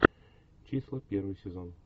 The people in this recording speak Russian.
числа первый сезон